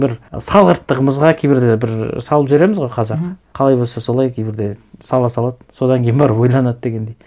бір салғырттығымызға кейбірде бір салып жібереміз ғой қазақ мхм қалай болса солай кейбірде сала салады содан кейін барып ойланады дегендей